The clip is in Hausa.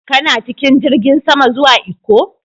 Kana cikin jirigin sama zuwa Ikko?